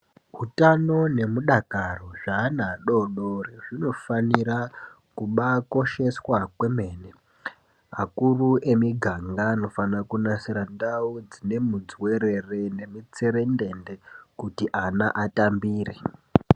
Utano nemudakaro zveana adodori zvinofanira kubaakosheswa kwemene. Akuru emiganga anofana kunasira ndau dzine midzuwerere nemitserendende kuti ana atambire.